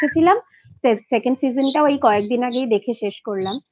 দেখেছিলাম second টাও এই কয়েকদিন আগে দেখে শেষ করলাম